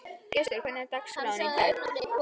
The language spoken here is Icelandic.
Gestur, hvernig er dagskráin í dag?